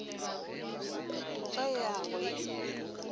o ka ya go e